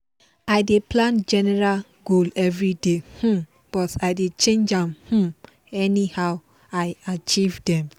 i dey plan general goal everyday um but i dey change am um anyhow i achieve dem